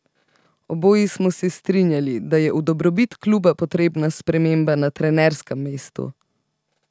Oboji smo se strinjali, da je v dobrobit kluba potrebna sprememba na trenerskem mestu.